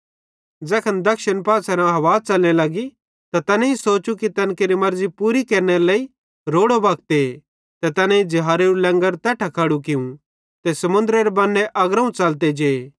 ज़ैखन दक्षिणी पासेरां हवा च़लने लगी त तैनेईं सोचू कि तैन केरि मर्ज़ी पूरी केरनेरे लेइ रोड़ो वक्ते ते तैनेईं ज़िहाज़ेरू लैंगर तैट्ठां खड़ू कियूं ते समुन्दरेरे बन्ने अग्रोवं च़लते जे